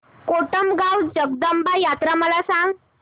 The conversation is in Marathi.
कोटमगाव जगदंबा यात्रा मला सांग